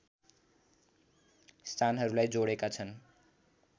स्थानहरूलाई जोडेका छन्